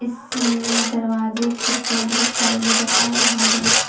इसमें दरवाजे खिड़कियां बहुत सारे नजर आ रहे हैं।